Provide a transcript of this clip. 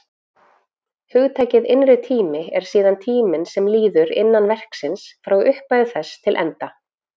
Hugtakið innri tími er síðan tíminn sem líður innan verksins, frá upphafi þess til enda.